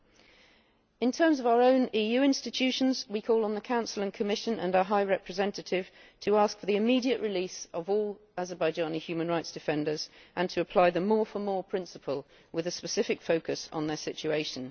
In relation to our own EU institutions, we call on the Council and Commission and our High Representative to ask for the immediate release of all Azerbaijani human rights defenders and to apply the more for more' principle with a specific focus on their situation.